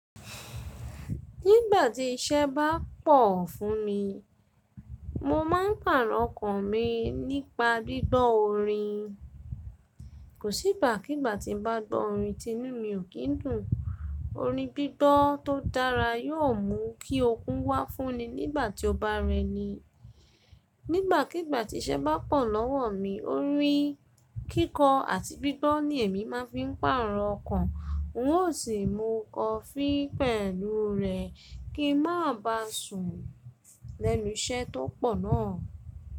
Nígbàtí iṣẹ́ bá pọ̀ fún mi, mo má ń pàrọ̀ ọkàn mi nípa gbígbọ́ orin. Kò sí igba kígbà tí ń bá gbọ́ orin ti'nú mi ò kín dùn. Orin gbígbọ́ tó dára yóò mú kí okun wà fún ni nígbàtí o bá rẹni. Nígbàkigbà tí iṣẹ́ bá pọ̀ lọ́wọ́ mi, orin kíkọ àti gbígbọ́ ni èmi má ń fi pàrọ̀ ọkàn. N ó sì mú coffee pẹ̀lú rẹ̀ kí n má bá sùn lẹ́nu iṣẹ́ tó pọ̀ náà.